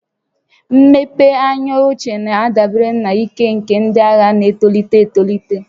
Mmepe anya ochie na-adabere na ike nke ndị agha na-etolite etolite